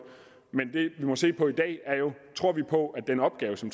men det vi må se på i dag er jo tror vi på at den opgave som